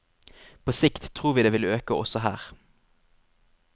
På sikt tror vi det vil øke også her.